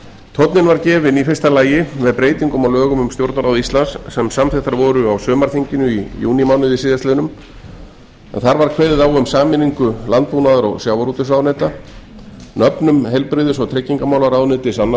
tónninn var gefinn í fyrsta lagi með breytingum á lögum um stjórnarráð íslands sem samþykktar voru á sumarþinginu í júnímánuði síðastliðnum en þar var kveðið á um sameiningu landbúnaðar og sjávarútvegsráðuneyta nöfnum heilbrigðis og tryggingamálaráðuneytis annars